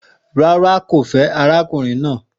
Rárá ,kò fẹ àrákúnrìn nà